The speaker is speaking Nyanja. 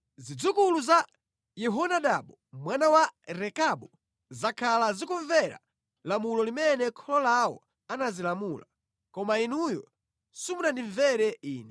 Zidzukulu za Yehonadabu mwana wa Rekabu zakhala zikumvera lamulo limene kholo lawo anazilamula, koma inuyo simunandimvere Ine.